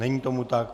Není tomu tak.